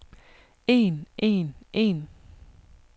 en en en